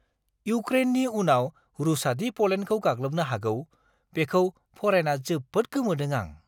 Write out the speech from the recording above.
इऊक्रेननि उनाव रुसआदि प'लेन्डखौ गाग्लोबनो हागौ, बेखौ फरायना जोबोद गोमोदों आं!